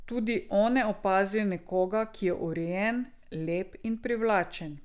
Tudi one opazijo nekoga, ki je urejen, lep in privlačen.